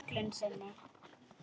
Köllun sinni?